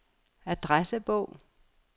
adressebog